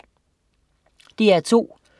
DR2: